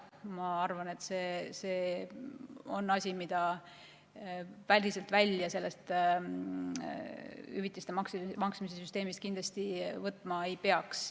Ma arvan, et see on asi, mida sellest hüvitiste maksmise süsteemist päriselt välja kindlasti võtma ei peaks.